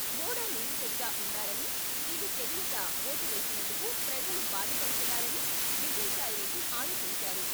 మూడో నిందితుడిగా ఉన్నారని, ఇది తెలియక ఓటు వేసినందుకు ప్రజలు బాధపడుతున్నారని విజయసాయి రెడ్డి ఆరోపించారు.